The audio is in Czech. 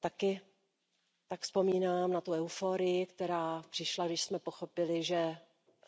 Taky tak vzpomínám na euforii, která přišla, když jsme pochopili, že